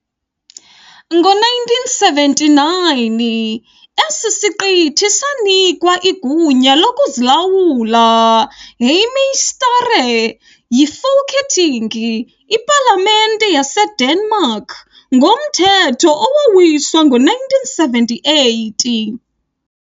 Ngo-1979 esi siqithi sanikwa igunya lokuzilawula, "hjemmestyre", yiFolketing, iPalamente yaseDenmark, ngomthetho owawiswa ngo-1978.